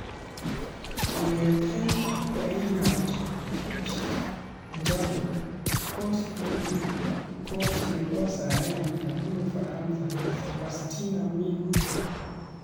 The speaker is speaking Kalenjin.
Kong'etee Reinhard Fabisch, Jacob 'Ghost' Mulee ak Coach nebo sai nebunu Ufaransa Sebastian Migne